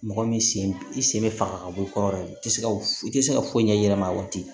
Mɔgɔ min sen i sen bɛ faga ka bɔ i kɔrɔ i tɛ se ka i tɛ se ka foyi ɲɛ yɛlɛma a waati